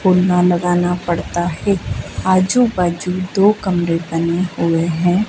पुन्ना लगाना पड़ता है आजू बाजू दो कमरे बने हुए है।